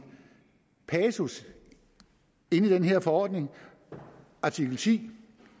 passus i den her forordning artikel ti